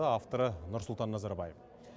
авторы нұрсұлтан назарбаев